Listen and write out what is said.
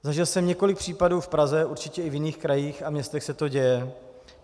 Zažil jsem několik případů v Praze, určitě i v jiných krajích a městech se to děje.